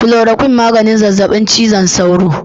"Chloroquine " maganin zazzabin cizon sauro.